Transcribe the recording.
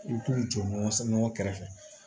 I bɛ t'u jɔ sanɲɔ kɛrɛfɛ